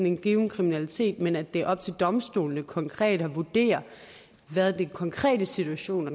en given kriminalitet men det er op til domstolene konkret at vurdere hvad den konkrete situation og